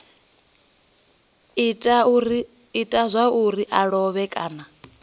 ita zwauri a lovhe kana